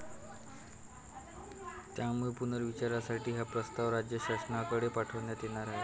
त्यामुळे पुनर्विचारासाठी हा प्रस्ताव राज्य शासनाकडे पाठवण्यात येणार आहे.